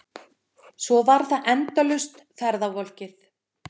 Svo var það endalaust ferðavolkið.